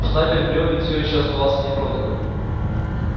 штабель брёвен все ещё оставался непроданным